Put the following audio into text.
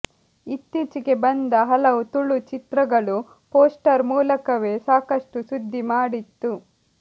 ಇತ್ತೀಚೆಗೆ ಬಂದ ಹಲವು ತುಳು ಚಿತ್ರಗಳು ಪೋಸ್ಟರ್ ಮೂಲಕವೇ ಸಾಕಷ್ಟು ಸುದ್ದಿ ಮಾಡಿತ್ತು